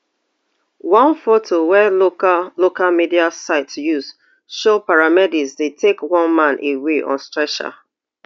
one foto wey local local media sites use show paramedics dey take one man away on stretcher